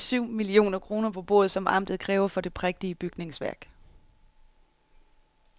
Men ingen vil øjensynligt lægge de syv millioner kroner på bordet, som amtet kræver for det prægtige bygningsværk.